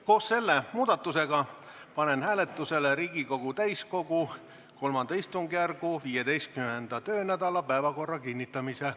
Koos selle muudatusega panen hääletusele Riigikogu täiskogu kolmanda istungjärgu 15. töönädala päevakorra kinnitamise.